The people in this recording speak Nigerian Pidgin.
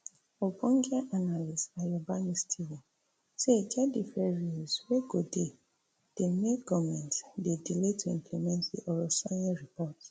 ogbonge analyst ayobami steven say e get different reasons wey go dey dey make goment dey delay to implement di orosanye report